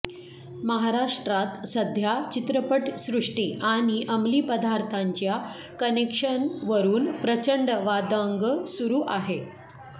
महाराष्ट्रात सध्या चित्रपटसृष्टी आणि अमली पदार्थांच्या कनेक्शनवरून प्रचंड वादंग सुरू आहे